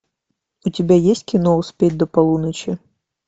у тебя есть кино успеть до полуночи